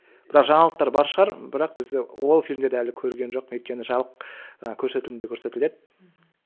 бірақ жаңалықтар бар шығар бірақ біз ол фильмдерді әлі көрген жоқпын өйткені жабық ы көрсетілімде көрсетіледі мхм